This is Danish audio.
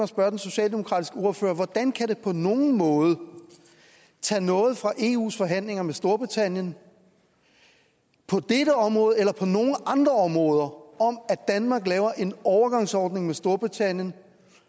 spørge den socialdemokratiske ordfører hvordan kan det på nogen måde tage noget fra eus forhandlinger med storbritannien på dette område eller på nogle andre områder at danmark laver en overgangsordning med storbritannien